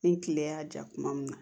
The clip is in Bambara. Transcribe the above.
Ni kile y'a ja kuma min na